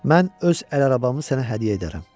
Mən öz əl arabamı sənə hədiyyə edərəm.